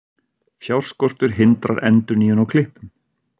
Fjárskortur hindrar endurnýjun á klippum